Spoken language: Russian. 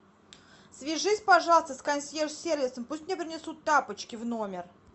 свяжись пожалуйста с консьерж сервисом пусть мне принесут тапочки в номер